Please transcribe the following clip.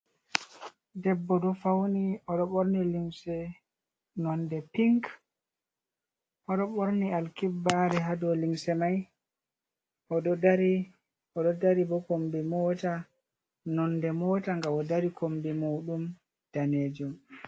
Debbo ɗo fauni o ɗo ɓorni limse nonde pink, o ɗo ɓorni alkibbare haa dow limse mai, oɗo dari, oɗo dari bo kombi mota, nonde mota nga o dari kombi maɗum danejum.